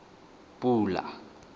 pula